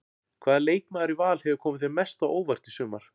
Hvaða leikmaður í Val hefur komið þér mest á óvart í sumar?